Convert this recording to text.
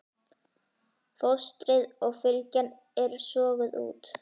Fóstrið og fylgjan eru soguð út.